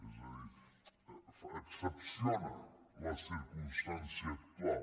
és a dir excepciona la circumstància actual